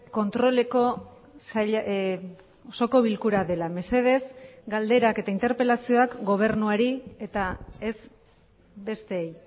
kontroleko osoko bilkura dela mesedez galderak eta interpelazioak gobernuari eta ez besteei